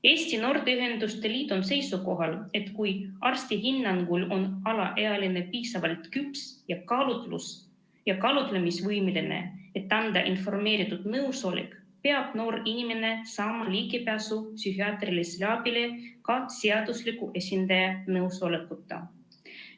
Eesti Noorteühenduste Liit on seisukohal, et kui arsti hinnangul on alaealine piisavalt küps ja kaalutlusvõimeline, et anda informeeritud nõusolek, peab noor inimene saama ligipääsu psühhiaatrilisele abile ka ilma seadusliku esindaja nõusolekuta.